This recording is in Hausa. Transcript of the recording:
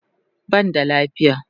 Ban da lafiya